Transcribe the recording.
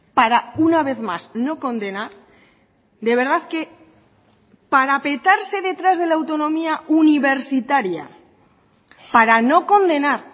para una vez más no condenar de verdad que parapetarse detrás de la autonomía universitaria para no condenar